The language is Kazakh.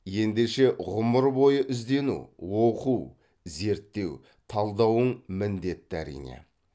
ендеше ғұмыр бойы іздену оқу зерттеу талдауың міндетті әрине